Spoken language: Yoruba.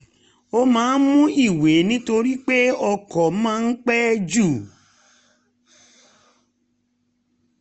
ó máa ń mú ìwé nítorí pé ọkọ̀ máa ń pẹ́ ju